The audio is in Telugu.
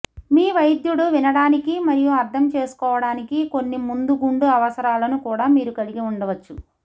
మీ వైద్యుడు వినడానికి మరియు అర్ధం చేసుకోవడానికి కొన్ని మందుగుండు అవసరాలను కూడా మీరు కలిగి ఉండవచ్చు